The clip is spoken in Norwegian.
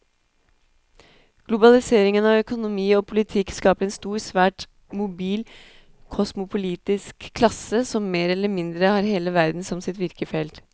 Globaliseringen av økonomi og politikk skaper en stor, svært mobil kosmopolitisk klasse som mer eller mindre har hele verden som sitt virkefelt.